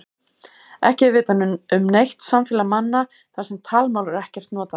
Ekki er vitað um neitt samfélag manna þar sem talmál er ekkert notað.